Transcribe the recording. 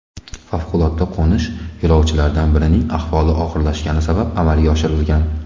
Favqulodda qo‘nish yo‘lovchilardan birining ahvoli og‘irlashgani sabab amalga oshirilgan.